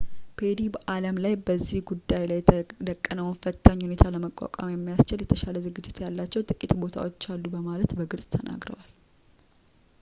ፔሪ በአለም ላይ በዚህ ጉዳይ ላይ የተደቀነውን ፈታኝ ሁኔታ ለመቋቋም የሚያስችል የተሻለ ዝግጅት ያላቸው ጥቂት ቦታዎች አሉ በማለት በግልጽ ተናግረዋል